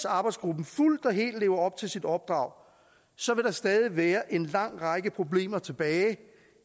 arbejdsgruppen fuldt og helt lever op til sit opdrag så vil der stadig være en lang række problemer tilbage